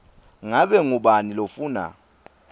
ngabe ngubani lofuna